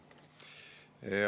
Aeg!